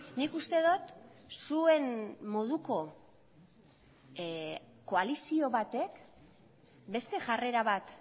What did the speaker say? nik uste dut zuen moduko koalizio batek beste jarrera bat